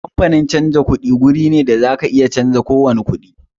Kamfanin canjin kuɗi guri ne da zaka iya canza kowani kuɗi